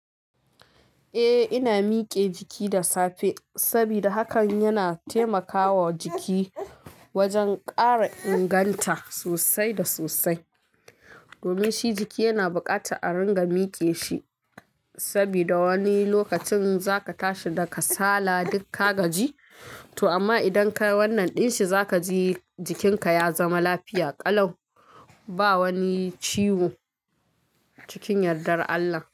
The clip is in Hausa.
Eh, ina mike jiki da safe sabida hakan yana taimakawa jiki wajen kara inganta sosai da sosai domin shi jiki yana buƙatar a ringa mike shi saboda wani lokacin zaka tashi da kasala duk ka gaji to amma idan ka wannan din shi zaka ji jikinka ya zama lafiya, ƙalau ba wani ciwo cikin yadda Allah.